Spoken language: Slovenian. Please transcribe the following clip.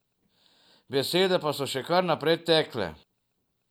Besede pa so še kar naprej tekle.